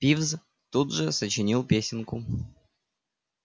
пивз тут же сочинил песенку